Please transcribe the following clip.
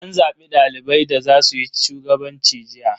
An zabi dalibai da za suyi shugabanci jiya.